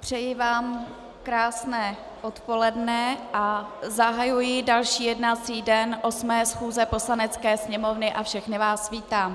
přeji vám krásné odpoledne a zahajuji další jednací den 8. schůze Poslanecké sněmovny a všechny vás vítám.